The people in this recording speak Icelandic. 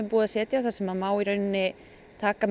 að setja þar sem má í rauninni taka